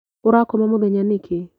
ũrakoma mũthenya nĩkĩ?